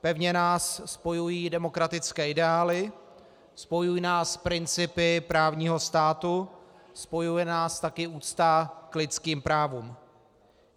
Pevně nás spojují demokratické ideály, spojují nás principy právního státu, spojuje nás taky úcta k lidským právům.